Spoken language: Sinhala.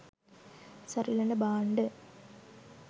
සරිලන භාණ්ඩ